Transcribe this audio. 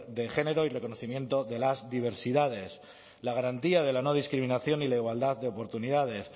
de género y reconocimiento de las diversidades la garantía de la no discriminación y la igualdad de oportunidades